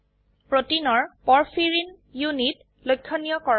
প্ৰোটিনৰ porphyrin porphyrin unit লক্ষনীয় কৰক